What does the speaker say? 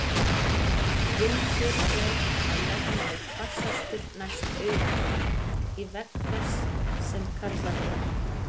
Vindur er að jafnaði hvassastur næst auganu, í vegg þess, sem kallað er.